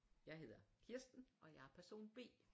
Jeg hedder Kirsten og jeg er person B